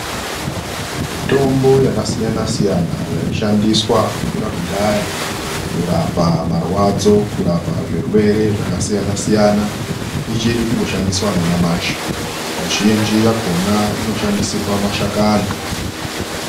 Mitombo yakasiyana siyana yaishandiswa kubvira kudhaya, kurapa marwadzo, kurapa zvirwere zvakasiyana siyana, ichiri kungoshandiswa nanyamashi. Mizhinji yakhona inoshandisirwa mashakani